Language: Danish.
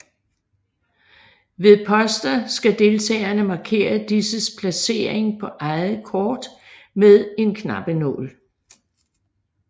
Ved poster skal deltagerne markere disses placering på eget kort med en knappenål